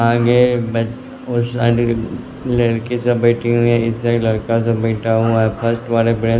आगे ओ साइड लड़की सब बैठी हुई है इस साइड लड़का सब बैठा हुआ है फर्स्ट वाले बेंच --